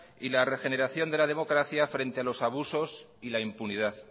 y la regeneración de la democracia frente a los abusos y la impunidad